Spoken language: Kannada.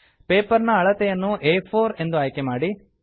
ಪೇಪರ್ ನ ಅಳತೆಯನ್ನು ಆ4 ಎ ಫೋರ್ ಎಂದು ಆಯ್ಕೆ ಮಾಡಿ